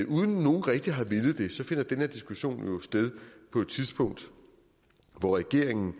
uden nogen rigtig har villet det så finder den her diskussion jo sted på et tidspunkt hvor regeringen